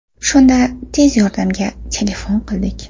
Shunda tez yordamga telefon qildik.